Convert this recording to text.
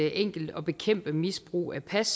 enkelt at bekæmpe misbrug af pas